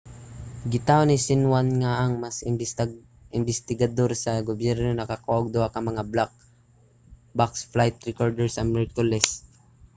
gitaho ni xinhuan nga ang mga imbestigador sa gobyerno nakakuha og duha ka mga 'black box' flight recorder sa miyerkules